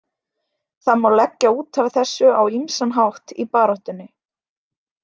Það má leggja út af þessu á ýmsan hátt í baráttunni.